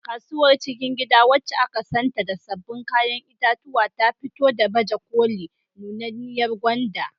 Kasuwar cikin gida, wacce aka santa da sabbin kayan itatuwa, ta fito da baje koli nunanniyar gwanda.